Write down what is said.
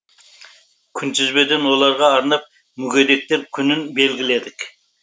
күнтізбеден оларға арнап мүгедектер күнін белгіледік